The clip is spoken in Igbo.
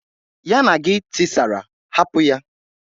Ya na gi tisara, hapụ ya!